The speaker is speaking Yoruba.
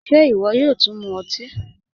Ṣé iwọ yóò tún mú ọtí?